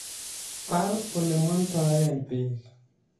Bal olemandae beek